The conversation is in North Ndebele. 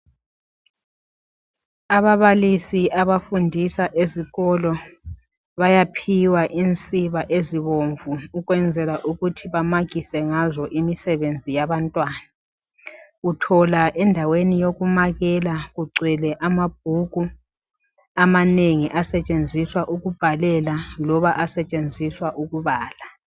Ababalisi abafundisa esikolo bayaphiwa imsiba ezibomvu ukwenzela ukuthi bamakise ngazo imisebenzi yabantwana. Uthola endaweni yokumakela kugwele amabhuku amanengi asetshenziswa ukubhalela loba asetshenziswa ukubala.